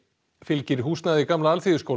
fylgir húsnæði gamla